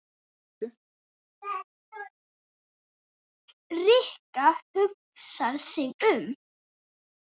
Rikka hugsar sig um.